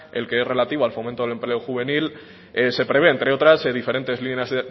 el que es relativo al fomento del empleo juvenil se prevé entre otras diferentes